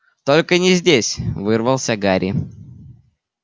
только не здесь вырвался гарри